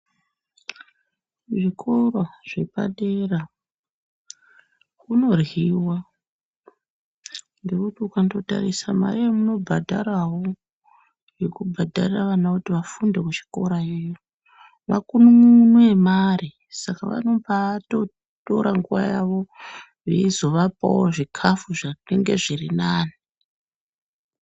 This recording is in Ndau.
Muzvikora zvepadera kunoryiwa ngekuti ukandotarise mare yamunobhadharawo yekubhadhara vana kuti vafunde kuchikora yo makun'un'unu emare saka vanoba atotora nguwa yawo eibaazoapawo zvikafu zvinonga zviri nani.